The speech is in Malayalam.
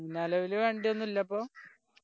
നിലവില് വണ്ടി ഒന്നും ഇല്ലപ്പോ